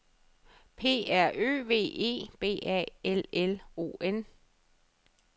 P R Ø V E B A L L O N